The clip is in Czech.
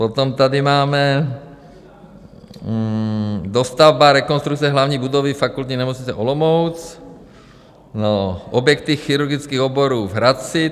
Potom tady máme: dostavba, rekonstrukce hlavní budovy Fakultní nemocnice Olomouc, objekty chirurgických oborů v Hradci.